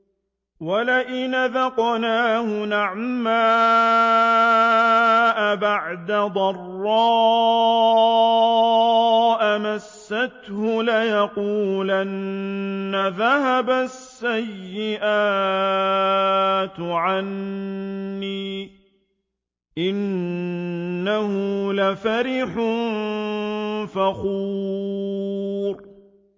وَلَئِنْ أَذَقْنَاهُ نَعْمَاءَ بَعْدَ ضَرَّاءَ مَسَّتْهُ لَيَقُولَنَّ ذَهَبَ السَّيِّئَاتُ عَنِّي ۚ إِنَّهُ لَفَرِحٌ فَخُورٌ